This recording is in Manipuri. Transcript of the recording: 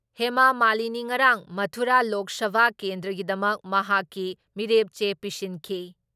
ꯍꯦꯃꯥ ꯃꯥꯂꯤꯅꯤ ꯉꯔꯥꯡ ꯃꯊꯨꯔꯥ ꯂꯣꯛ ꯁꯚꯥ ꯀꯦꯟꯗ꯭ꯔꯒꯤꯗꯃꯛ ꯃꯍꯥꯛꯀꯤ ꯃꯤꯔꯦꯞ ꯆꯦ ꯄꯤꯁꯤꯟꯈꯤ ꯫